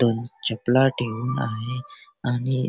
दोन चपला ठेऊन आहे आणि --